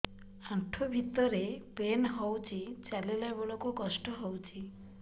ଆଣ୍ଠୁ ଭିତରେ ପେନ୍ ହଉଚି ଚାଲିଲା ବେଳକୁ କଷ୍ଟ ହଉଚି